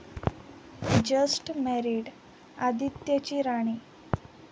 Just मॅरिड..आदित्यची 'राणी'!